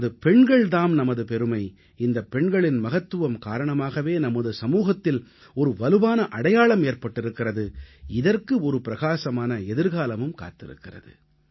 நமது பெண்கள் தாம் நமது பெருமை இந்தப் பெண்களின் மகத்துவம் காரணமாகவே நமது சமூகத்தில் ஒரு வலுவான அடையாளம் ஏற்பட்டிருக்கிறது இதற்கு ஒரு பிரகாசமான எதிர்காலமும் காத்திருக்கிறது